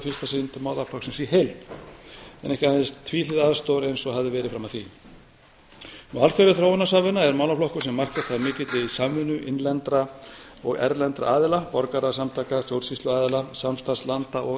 fyrsta sinn til málaflokksins í heild en ekki aðeins tvíhliða aðstoðar eins og hafði verið fram að því alþjóðleg þróunarsamvinna er málaflokkur sem markast af mikilli samvinnu innlendra og erlendra aðila borgarasamtaka stjórnsýsluaðila samstarfslanda og